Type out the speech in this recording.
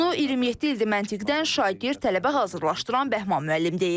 Bunu 27 ildir məntiqdən şagird, tələbə hazırladırən Bəhman müəllim deyir.